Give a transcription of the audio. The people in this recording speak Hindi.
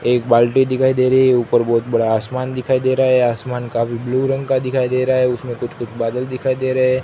एक बाल्टी दिखाई दे रही है ऊपर बहुत बड़ा आसमान दिखाई दे रहा है आसमान काफी ब्लू रंग का दिखाई दे रहे हैं।